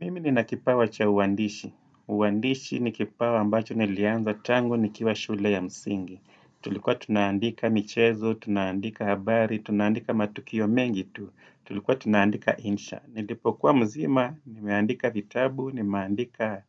Mimi ni nakipawa cha uandishi. Uandishi ni kipawa ambacho nilianza tangu nikiwa shule ya msingi. Tulikuwa tunaandika michezo, tunaandika habari, tunaandika matukio mengi tu. Tulikuwa tunaandika insha. Nilipokuwa mzima, nimeandika vitabu, nimeandika